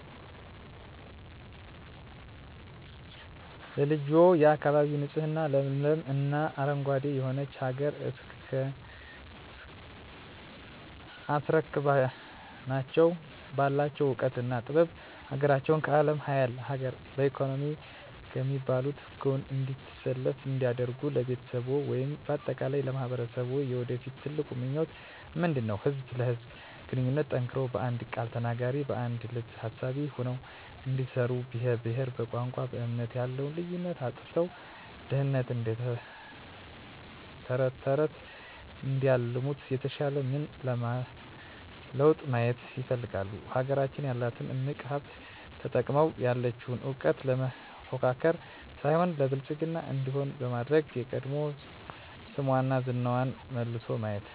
ለልጆችዎ፣ የአካባቢ ንፁህ ለምለም እና አረንጓዴ የሆነች ሀገር አስረክበናቸው ባላቸው እውቀትና ጥበብ ሀገራቸውን ከአለም ሀያላን ሀገር በኢኮኖሚ ከሚባሉት ጎን እንድትሰለፍ እንዲያደርጉ ለቤተሰብዎ ወይም በአጠቃላይ ለማህበረሰብዎ የወደፊት ትልቁ ምኞቶ ምንድነው? ህዝብ ለህዝብ ግንኙነቱ ጠንክሮ በአንድ ቃል ተናጋሪ በአንድ ልብ አሳቢ ሆነው እንዲኖሩ በብሄር በቋንቋ በእምነት ያለውን ልዩነት አጥፍተው ድህነትን እደተረተረት እንዲያለሙት የተሻለ ምን ለውጥ ማየት ይፈልጋሉ? ሀገራችን ያላትን እምቅ ሀብት ተጠቅመው ያለቸውን እውቀት ለመፎካከር ሳይሆን ለብልፅግና እንዲሆን በማድረግ የቀድሞ ስሟና ዝናዋ ተመልሶ ማየት